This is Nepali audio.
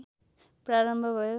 प्रारम्भ भयो